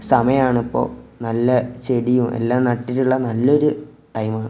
സമയം ആണിപ്പോ നല്ല ചെടിയും എല്ലാം നട്ടിട്ടുള്ള നല്ലൊരു ടൈമാ .